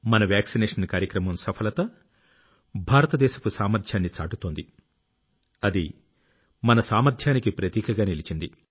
మన వాక్సినేషన్ కార్యక్రమం సఫలత భారతదేశపు సామర్ధ్యాన్ని చాటుతోంది అది మన సామర్ధ్యానికి ప్రతీకగా నిలిచింది